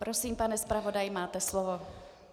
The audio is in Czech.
Prosím, pane zpravodaji, máte slovo.